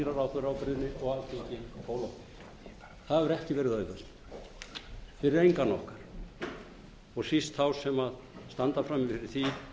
ráðherraábyrgðinni og alþingi það hefur ekki verið auðvelt fyrir engan okkar og síst þá sem standa frammi fyrir því